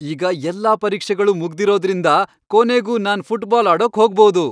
ಈಗ ಎಲ್ಲಾ ಪರೀಕ್ಷೆಗಳು ಮುಗ್ದಿರೋದ್ರಿಂದ, ಕೊನೆಗೂ ನಾನ್ ಫುಟ್ಬಾಲ್ ಆಡೋಕ್ ಹೋಗ್ಬೋದು.